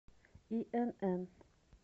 инн